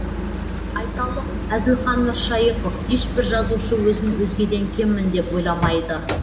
айталық әзілхан нұршайықов ешбір жазушы өзін өзгеден кеммін деп ойламайды